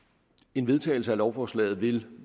en vedtagelse af lovforslaget vil